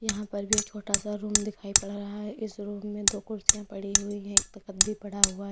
यहां पर भी एक छोटा सा रूम दिखाई पड़ रहा है इस रूम में दो कुर्सियां पड़ी हुई हैं एक तख्त भी पड़ा हुआ है।